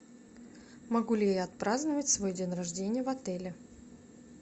могу ли я отпраздновать свой день рождения в отеле